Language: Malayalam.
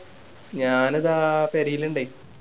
ഞാന് ദാ പെരേല് ണ്ടേയ്